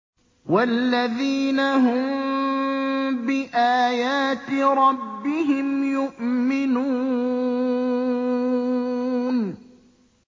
وَالَّذِينَ هُم بِآيَاتِ رَبِّهِمْ يُؤْمِنُونَ